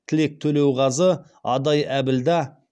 тілек төлеуғазы адай әбілда